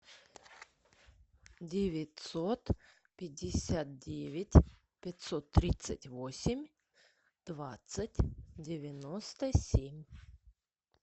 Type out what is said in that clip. девятьсот пятьдесят девять пятьсот тридцать восемь двадцать девяносто семь